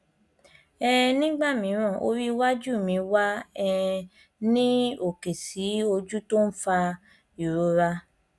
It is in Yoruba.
um nígbà mìíràn orí iwájú mi wà um ní òkè sí ojú tí ó ń fa ìrora